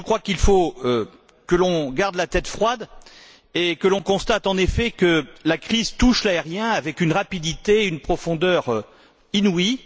Mais je crois qu'il faut que l'on garde la tête froide et que l'on constate en effet que la crise touche l'aérien avec une rapidité et une profondeur inouïes.